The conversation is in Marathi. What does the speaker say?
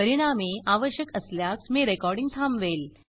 परिणामी आवश्यक असल्यास मी रेकॉर्डिंग थांबवेल